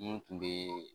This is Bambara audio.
N kun be